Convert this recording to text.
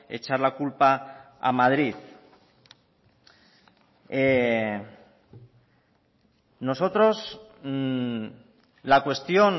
echar la culpa a madrid nosotros la cuestión